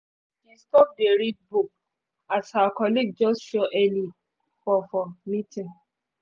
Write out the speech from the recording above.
she stop dey read book as her colleague just show early for for meeting